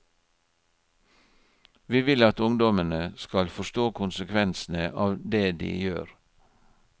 Vi vil at ungdommene skal forstå konsekvensene av det de gjør.